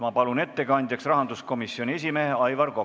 Ma palun ettekandjaks rahanduskomisjoni esimehe Aivar Koka.